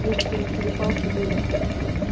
некоторые перепалки были